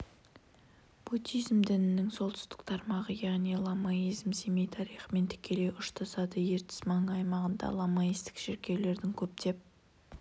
буддизм дінінің солтүстік тармағы яғни ламаизм семей тарихымен тікелей ұштасады ертіс маңы аймағында ламаистік шіркеулердің көптеп